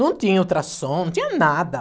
Não tinha ultrassom, não tinha nada.